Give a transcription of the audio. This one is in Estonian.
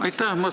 Aitäh!